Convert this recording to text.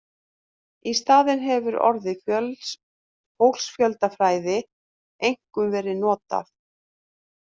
Í staðinn hefur orðið fólksfjöldafræði einkum verið notað.